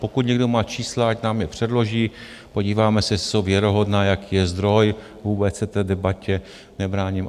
Pokud někdo má čísla, ať nám je předloží, podíváme se, jestli jsou věrohodná, jaký je zdroj, vůbec se té debatě nebráním.